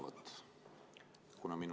Mul on vastusõnavõtt.